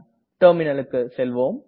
Terminalக்கு செல்வோம்